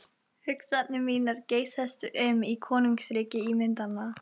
Hugsanir mínar geysast um í konungsríki ímyndananna.